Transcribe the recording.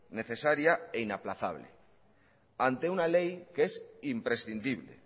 necesaria e inaplazable ante una ley que es imprescindible